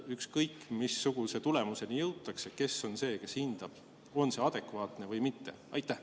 Ükskõik missuguse tulemuseni jõutakse, kes on see, kes hindab, on see adekvaatne või mitte?